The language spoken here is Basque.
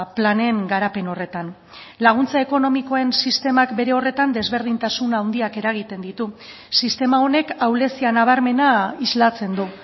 planen garapen horretan laguntza ekonomikoen sistemak bere horretan desberdintasun handiak eragiten ditu sistema honek ahulezia nabarmena islatzen du